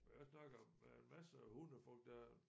Men jeg snakker med en masser af hundefolk der er